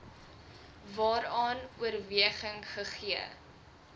waaraan oorweging gegee